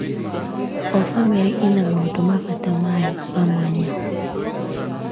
O bamĩrĩ ĩna maũndũ ma bata mayo ma mwanya.